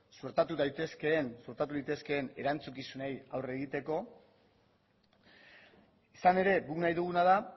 suertatu daitezkeen suertatu litezkeen erantzukizunei aurre egiteko izan ere guk nahi duguna da